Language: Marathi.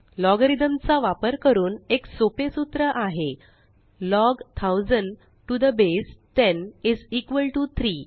logarithmचा वापर करून एक सोपे सूत्र आहेLog 1000 to the base 10 is equal to 3